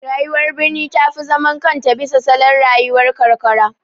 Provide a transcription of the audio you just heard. Rayuwar birni ta fi zaman kanta bisa salon rayuwar karkara.